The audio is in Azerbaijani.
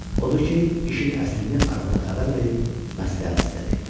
Odur ki, işin əslini arvada xəbər verib məsləhət istədi.